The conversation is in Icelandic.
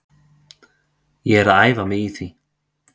Ég er að æfa mig í því.